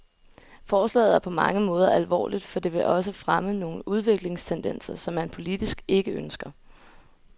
Forslaget er på mange måder alvorligt, for det vil også fremme nogle udviklingstendenser, som man politisk ikke ønsker.